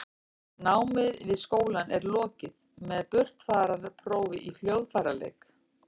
námi við skólann er lokið með burtfararprófi í hljóðfæraleik